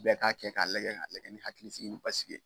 Bɛɛ ka kɛ ka lagɛ ka lagɛ ni hakili sigi ye